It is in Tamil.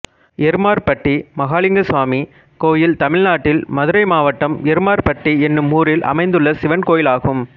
எருமார்பட்டி மகாலிங்கசாமி கோயில் தமிழ்நாட்டில் மதுரை மாவட்டம் எருமார்பட்டி என்னும் ஊரில் அமைந்துள்ள சிவன் கோயிலாகும்